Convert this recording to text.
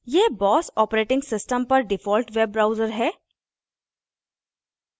यह boss operating system पर default web browser है